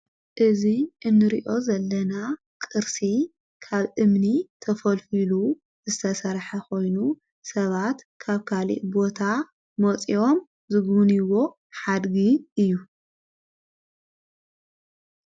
እዙ እንርዮ ዘለና ቕርሲ ካብ እምኒ ተፈልፍሉ ዘተሠራሐ ኾይኑ ሰባት ካብ ካልእ ቦታ ሞፂኦም ዝግዉንይዎ ሓድጊ እዩ።